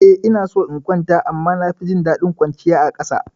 Eh ina so in kwanta amma na fi jin daɗin kwanciya a ƙasa.